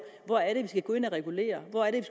hvor er det vi skal gå ind at regulere hvor er det